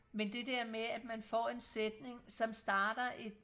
men det der med at man får en sætning som starter